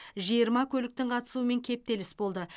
жиырма көліктің қатысуымен кептеліс болды